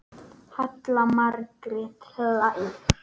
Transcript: Halla Margrét hlær.